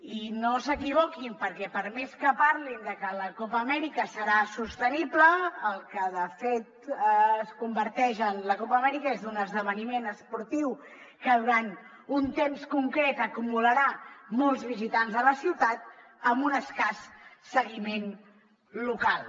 i no s’equivoquin perquè per més que parlin de que la copa amèrica serà sostenible en el que de fet es converteix la copa amèrica és en un esdeveniment esportiu que durant un temps concret acumularà molts visitants a la ciutat amb un escàs seguiment local